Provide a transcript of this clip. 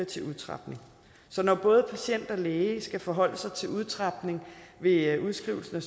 til udtrapning så når både patient og læge skal forholde sig til udtrapning ved udskrivelsen af